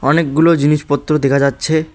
অনেকগুলো জিনিসপত্র দেখা যাচ্ছে।